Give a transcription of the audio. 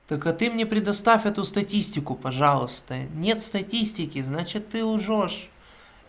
только ты мне предоставь эту статистику пожалуйста нет статистики значит ты лжёшь